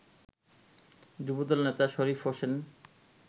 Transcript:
যুবদল নেতা শরীফ হোসেন